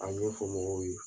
A ɲɛfɔ mɔgɔw ye